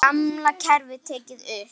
Gamla kerfið tekið upp?